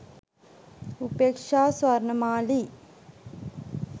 upeaksha sawarnamali